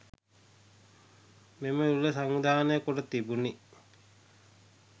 මෙම උළෙල සංවිධානය කොට තිබුණි.